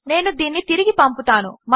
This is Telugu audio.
నేను దీనిని తిరిగి పంపుతాను